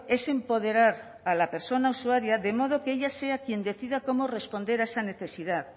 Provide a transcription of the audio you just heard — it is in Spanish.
es empoderar a la persona usuaria de modo que ella sea quien decida cómo responder a esa necesidad